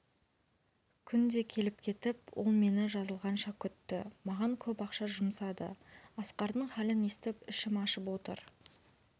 күнде келіп-кетіп ол мені жазылғанша күтті маған көп ақша жұмсады асқардың халін естіп ішім ашып отыр